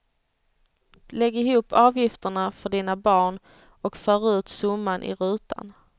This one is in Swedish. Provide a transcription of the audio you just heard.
Lägg ihop avgifterna för dina barn och för ut summan i rutan.